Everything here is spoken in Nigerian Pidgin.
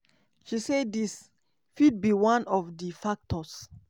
she say dis "fit be one of di factors"